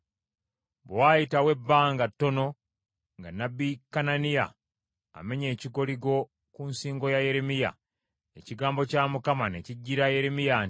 Bwe waayitawo ebbanga ttono nga nnabbi Kananiya amenye ekikoligo ku nsingo ya Yeremiya, ekigambo kya Mukama ne kijjira Yeremiya nti,